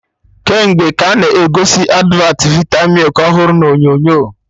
Kemgbe ka a na-egosi advat vita milk ọhụrụ na onyonyo